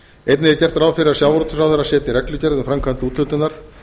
einnig er gert ráð fyrir að ráðherra setji reglugerð um framkvæmd úthlutunar